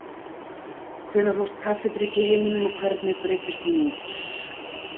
Hvenær hófst kaffidrykkja í heiminum og hvernig breiddist hún út?